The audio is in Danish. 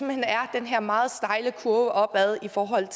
hen er den her meget stejle kurve opad i forhold